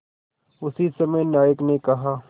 उसी समय नायक ने कहा